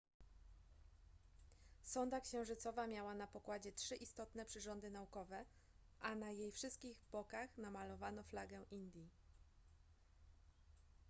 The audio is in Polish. sonda księżycowa miała na pokładzie trzy istotne przyrządy naukowe a na jej wszystkich bokach namalowano flagę indii